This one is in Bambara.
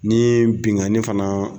Ni ye bingani fana.